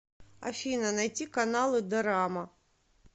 афина найти каналы дорама